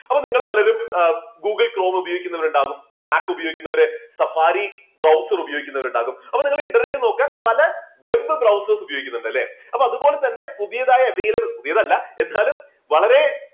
അപ്പോൾ നിങ്ങൾ പലരും google chrome ഉപയോഗിക്കുന്നവർ ഉണ്ടാവും നാക്ക് ഉപയോഗിക്കുന്നവര് സഫാരി browser ഉപയോഗിക്കുന്നവരുണ്ടാവും അപ്പോൾ നിങ്ങൾ internet ൽ നോക്കിയാൽ പല web browers ഉപയോഗിക്കുന്നുണ്ട് ലെ. അപ്പോൾ അതുപോലെ തന്നെ പുതിയതായ ഏതായാലും പുതിയതല്ല എന്നാലും വളരെ